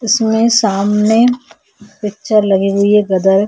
इसमें सामने पिचर लगी हुई हैं गदर।